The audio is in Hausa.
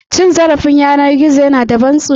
Cin zarafin yanar gizo yana da ban tsoro.